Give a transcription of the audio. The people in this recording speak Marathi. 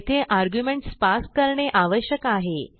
येथे आर्ग्युमेंट्स पास करणे आवश्यक आहे